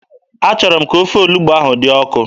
Achọrọ m ka ofe olugbu ahụ dị ọkụ.